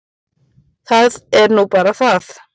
Það er nú bara það.